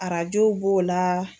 Arajo b'o la.